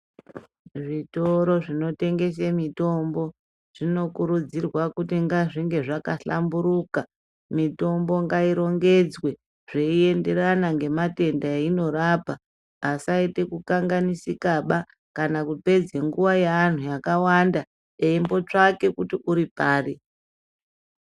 Zvitori zvinotengese mitombo zvinokurudzirwa kuti ngazvinge zvakahlamburuka, mitombo ngairongedzwe zveienderana ngematenda eionorapa asaite kukanganisikaba kana kupedza nguwa yeantu akawanda eimbotsvake kuti uripari.